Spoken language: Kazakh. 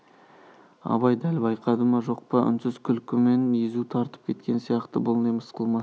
абай дәл байқады ма жоқ па үнсіз күлкімен езу тартып кеткен сияқты бұл не мысқыл ма